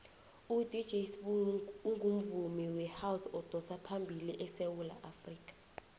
udj sbu ungumvumi wehouse odosaphambili esewula afrikha